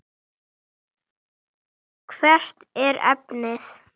Hvert er efnið?